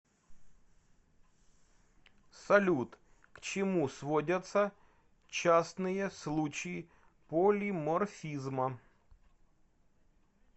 салют к чему сводятся частные случаи полиморфизма